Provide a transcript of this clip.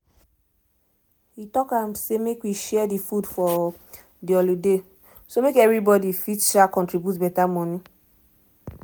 he talk um say make we share the food for the holiday um make everybody fit um contribute better money